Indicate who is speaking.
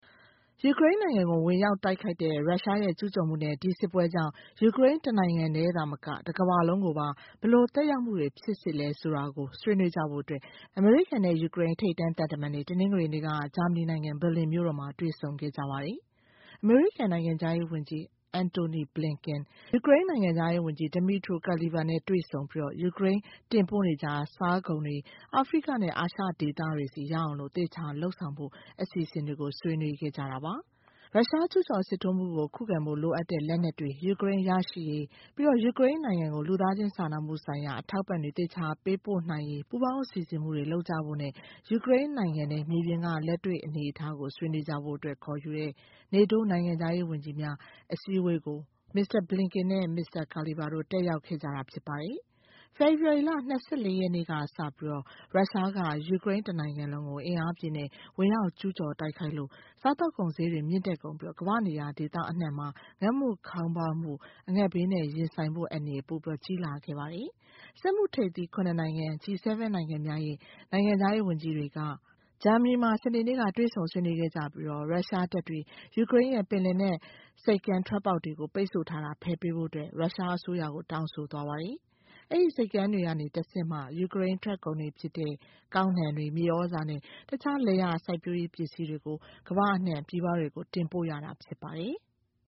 Speaker 1: ယူကရိန်းနိုင်ငံကို ဝင်ရောက်တိုက်ခိုက်တဲ့ ရုရှားရဲ့ ကျူးကျော်မှုနဲ့ ဒီစစ်ပွဲကြောင့် ယူကရိန်းနိုင်ငံ တခုတည်းသာမက တကမ္ဘာလုံးကို ဘယ်လိုသက်ရောက်မှုဖြစ်စေလဲ ဆွေးနွေးကြဖို့ အမေရိကန်နဲ့ ယူကရိန်း ထိပ်တန်းသံတမန်တွေ ဒီကနေ့ တနင်္ဂနွေနေ့မှာ ဆွေးနွေးခဲ့ကြပါတယ်။ အမေရိကန် နိုင်ငံခြားရေးဝန်ကြီး Antony Blinken နဲ့ ယူကရိန်းနိုင်ငံခြားရေးဝန်ကြီး Dmytro Kuleba နဲ့ တွေ့ဆုံပြီး ယူကရိန်းက တင်ပို့နေကြ စားကုန်တွေ အာဖရိကနဲ့ အာရှိဒေသတွေဆီ ရောက်အောင် သေချာလုပ်ဆောင်ဖို့ အစီအစဉ်တွေ ဆွေးနွေးခဲ့ကြပါတယ်။ ရုရှားကျူးကျော်စစ်ထိုးမှုကို ခုခံဖို့ လိုအပ်တဲ့ လက်နက်တွေ ယူကရိန်း ရရှိရေး၊ ပြီးတော့ ယူကရိန်းနိုင်ငံကို လူသားချင်းစာနာမှုဆိုင်ရာ အထောက်အပံ့တွေ သေချာပေးအပ်နိုင်ရေး ပူးပေါင်းစီစဉ်မှုတွေ လုပ်ကြဖို့နဲ့ ယူကရိန်းနိုင်ငံထဲ မြေပြင်က လက်တွေ့အနေအထားကို ဆွေးနွေးကြဖို့ ခေါ်ယူတဲ့ NATO နိုင်ငံခြားရေးဝန်ကြီးများ အစည်းအဝေးကို မစ္စတာ Blinken နဲ့ မစ္စတာ Kuleba တို့ တက်ရောက်ခဲ့ကြတာ ဖြစ်ပါတယ်။ ဖေဖော်ဝါရီ ၂၄ ရက်ကစပြီး ရုရှားက ယူကရိန်းတနိုင်ငံလုံးကို အင်အားအပြည့်နဲ့ ဝင်ရောက်ကျူးကျော် တိုက်ခိုက်လို့ စားသောက်ကုန်တွေ ဈေးမြင့်တက်ကုန်ပြီး ကမ္ဘာ့ဒေသအနှံ့အပြားမှာ အငတ်ဘေးနဲ့ ရင်ဆိုင်ရနိုင်တဲ့ အန္တရာယ်နဲ့ ပိုကြီးလာတာဖြစ်ပါတယ်။ စက်မှုထိပ်သီး ၇ နိုင်ငံ G7 နိုင်ငံများရဲ့ နိုင်ငံခြားရေးဝန်ကြီးတွေကလည်း ဂျာမနီနိုင်ငံမှာ စနေနေ့က ဆွေးနွေးခဲ့ကြပြီး ရုရှားတပ်တွေ ယူကရိန်းရဲ့ ပင်လယ်နက် ဆိပ်ကမ်းထွက်ပေါက်တွေကို ပိတ်ဆို့ထားတာကို ဖယ်ပေးဖို့ ရုရှားအစိုးရကို တောင်းဆိုသွားပါတယ်။ အဲဒီဆိပ်ကမ်းတွေကနေမှ တဆင့် ယူကရိန်းထွက်ကုန်တွေ ဖြစ်တဲ့ ကောက်နှံတွေ၊ မြေသြဇာနဲ့ တခြားလယ်ယာစိုက်ပျိုးရေးပစ္စည်းတွေကို ပြည်ပကို တင်ပို့ရတာ ဖြစ်ပါတယ်။